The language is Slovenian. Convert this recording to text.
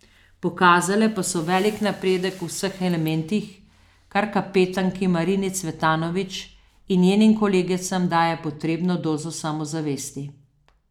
Pokazale pa so velik napredek v vseh elementih, kar kapetanki Marini Cvetanović in njenim kolegicam daje potrebno dozo samozavesti.